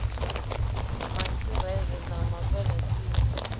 ma israele na ma palesitina